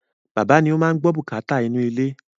Bàbá ni o máa n gbọ́ bùkátà inú ilé